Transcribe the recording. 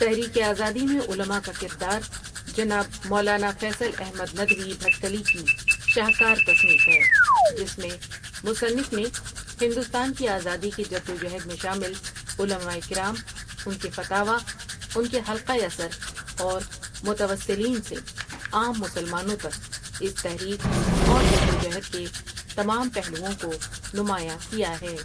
تحریک آزادی میں علما کا کردار جناب مولانا فیصل احمد ندوی بھٹکلی کی شاہ کار تصنیف ہے جس میں مصنف نے ہندوستان کی آزادی کی جدوجہد میں شامل علماء کرام، ان کے فتاوی، ان کے حلقۂ اثر اور متوسلین سے عام مسلمانوں تک اس تحریک اور جدوجہد کے تمام پہلوؤ٘ں کو نمایاں کیا ہے ۔